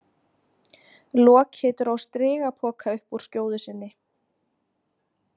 Loki dró strigapoka upp úr skjóðu sinni.